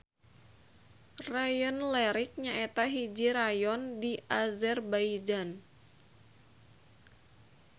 Rayon Lerik nyaeta hiji rayon di Azerbaijan.